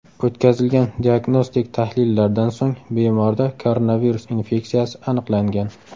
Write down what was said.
O‘tkazilgan diagnostik tahlillardan so‘ng bemorda koronavirus infeksiyasi aniqlangan.